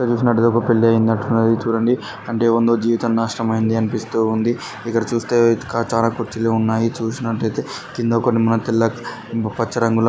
ఇక్కడ చూసినట్టైతే ఒక పెళ్లి అయినట్టు ఉంది చూడండి అంటే ఏవనిదో జీవితం నాశనం అయింది అనిపిస్తూ ఉంది. ఇక్కడ చూస్తే కా చానా కుర్చీలు ఉన్నాయి చూపినట్లయితే కింద కొన్ని మా తెల్ల పచ్చ రంగులో --